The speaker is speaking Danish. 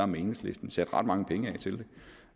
med enhedslisten sat ret mange penge af til